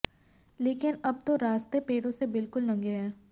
लेकिन अब तो रास्ते पेड़ों से बिल्कुल नंगे हैं